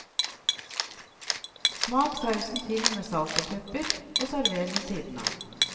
Smak sausen til med salt og pepper, og server ved siden av.